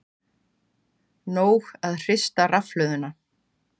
Nóg að hrista rafhlöðuna